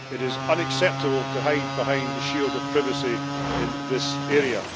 It is unacceptable to hide behind the shield of privacy in this area.